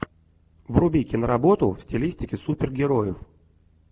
вруби киноработу в стилистике супергероев